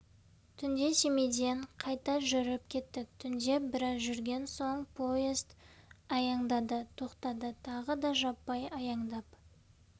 түнде семейден қайта жүріп кеттік түнде біраз жүрген соң поезд аяңдады тоқтады тағы да жаппай аяңдап